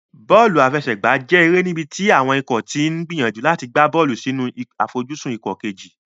Bọ́ọ̀lù àfẹsẹ̀gbá jẹ́ eré níbi tí àwọn ikọ̀ ti ń gbìyànjú láti gbá bọ́ọ̀lù sínú àfojúsùn ikọ̀ kejì.